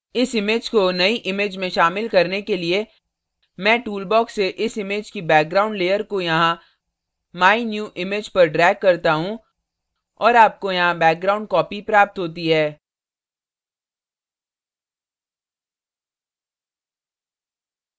इस image को नई image में शामिल करने के लिए मैं toolbox से इस image की background layer को यहाँ my new image पर drag करता हूँ और आपको यहाँ background copy प्राप्त होती है